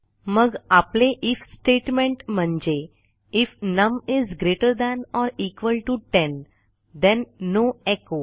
मग आपले if statement म्हणजे if num is greater than or equal to 10 then no echo